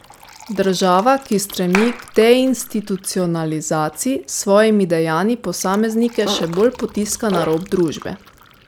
Država, ki stremi k deinstitucionalizaciji, s svojimi dejanji posameznike še bolj potiska na rob družbe.